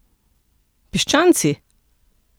Piščanci?